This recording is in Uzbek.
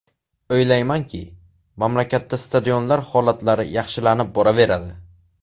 O‘ylaymanki, mamlakatda stadionlar holatlari yaxshilanib boraveradi.